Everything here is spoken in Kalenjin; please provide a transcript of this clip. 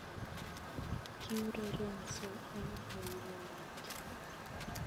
Kiurerenso eng boiboiyet